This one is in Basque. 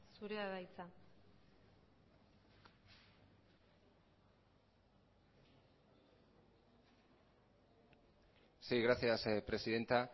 zurea da hitza sí gracias presidenta